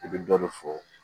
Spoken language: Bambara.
I bɛ dɔ de fɔ